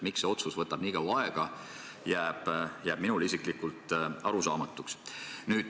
Miks see otsus nii kaua aega võtab, jääb minule isiklikult arusaamatuks.